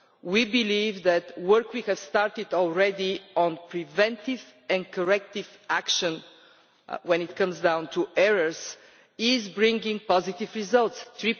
We believe that work we have started already on preventive and corrective action in relation to errors is bringing positive results EUR